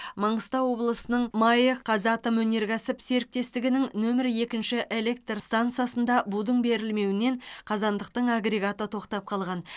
маңғыстау облысының маэк қазатомөнеркәсіп серіктестігінің нөмірі екінші электр стансасында будың берілмеуінен қазандықтың агрегаты тоқтап қалған